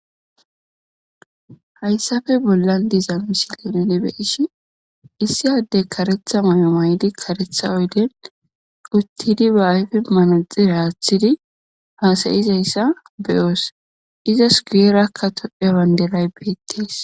hayssafe bollan diza misileza nuni be'ishshn issi adde kareththa mayo may'di kareththa oyden uttidi ba ayfe manaxire aththidi hasayizayssa be'oos izas guyerakka tophphiya bandiray bettees